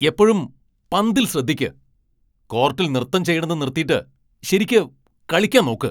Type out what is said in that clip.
എപ്പഴും പന്തിൽ ശ്രദ്ധിയ്ക്ക്! കോർട്ടിൽ നൃത്തം ചെയ്യണത് നിർത്തിട്ട് ശരിയ്ക്ക് കളിയ്ക്കാൻ നോക്ക്.